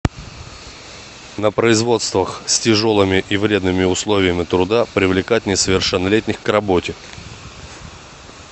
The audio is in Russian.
на производствах с тяжелыми и вредными условиями труда привлекать несовершеннолетних к работе